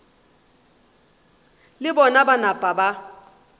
le bona ba napa ba